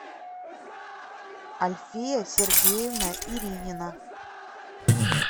альфия сергеевна иринина